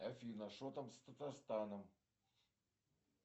афина что там с татарстаном